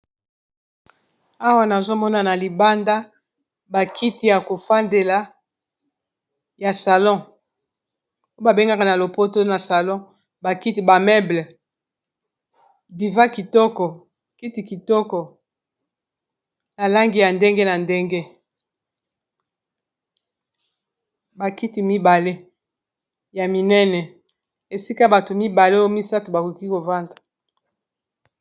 Awa nazomona na libanda ba kiti ya ko fandela ya salon oyo babengaka na lopoto na salon ba kiti ba meuble divan kitoko kiti kitoko na langi ya ndenge na ndenge ba kiti mibale ya minene esika bato mibale oyo misato bakoki kovanda.